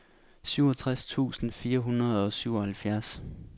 syvogtres tusind fire hundrede og syvoghalvfjerds